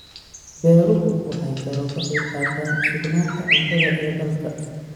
Beeruhu waxay kaloo ka qayb qaataan sugnaanta cuntada ee dalka.